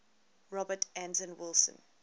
robert anton wilson